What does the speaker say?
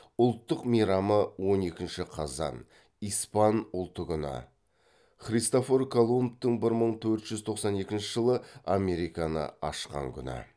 ұлттық мейрамы он екінші қазан испан ұлты күні